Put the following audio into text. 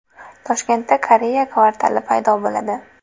Toshkentda Koreya kvartali paydo bo‘ladi.